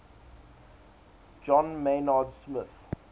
john maynard smith